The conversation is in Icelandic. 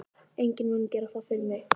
Enginn mun gera það fyrir mig.